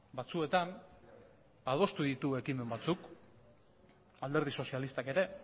batzuetan adostu ditu ekimen batzuk alderdi sozialistak ere